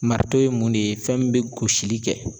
Maritɔ ye mun de ye fɛn min be gosili kɛ